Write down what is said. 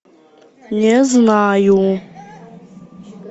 не знаю